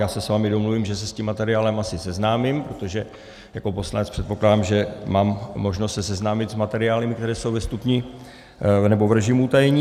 Já se s vámi domluvím, že se s tím materiálem asi seznámím, protože jako poslanec předpokládám, že mám možnost se seznámit s materiály, které jsou ve stupni nebo v režimu utajení.